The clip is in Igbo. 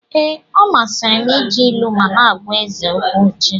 Ee, ọ masịrị m iji ilu ma m na-agwa eze okwu echi.